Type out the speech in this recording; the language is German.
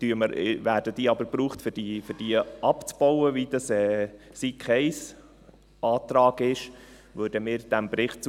Werden diese aber gebraucht, um sie abzubauen, wie das der Antrag SiK 1 vorsieht, stimmen wir dem Bericht zu.